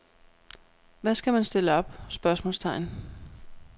Hvad skal man stille op? spørgsmålstegn